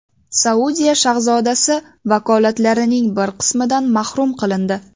Saudiya shahzodasi vakolatlarining bir qismidan mahrum qilindi.